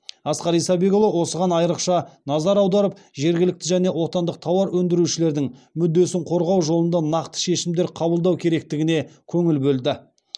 асқар исабекұлы осыған айрықша назар аударып жергілікті және отандық тауар өндірушілердің мүддесін қорғау жолында нақты шешімдер қабылдау керектігіне көңіл бөлді